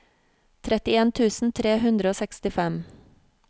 trettien tusen tre hundre og sekstifem